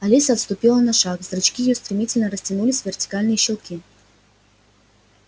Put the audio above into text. алиса отступила на шаг зрачки её стремительно растянулись в вертикальные щёлки